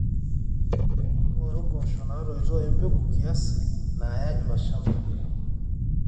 ng'oru impoosho naatoito empegu kiasi naaya iloshamba lino